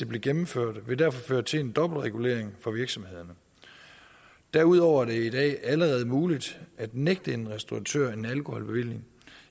blev gennemført ville det derfor føre til en dobbeltregulering for virksomhederne derudover er det i dag allerede muligt at nægte en restauratør en alkoholbevilling